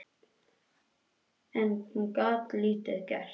En hún gat lítið gert